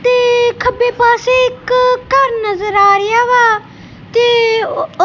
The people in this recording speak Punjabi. ਤੇ ਖੱਬੇ ਪਾਸੇ ਇੱਕ ਘਰ ਨਜ਼ਰ ਆ ਰਿਹਾ ਵਾ ਤੇ।